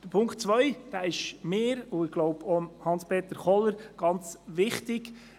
Der Punkt 2 ist mir und ich glaube auch Hans-Peter Kohler ganz wichtig.